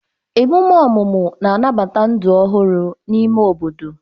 Ememe ọmụmụ na-anabata ndụ ọhụrụ n'ime obodo.